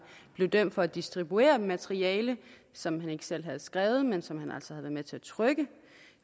blev dømt for at distribuere materiale som han ikke selv havde skrevet men som han altså havde været med til at trykke